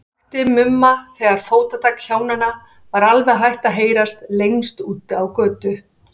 Ég vakti Mumma þegar fótatak Hjónanna var alveg hætt að heyrast lengst úti á götu.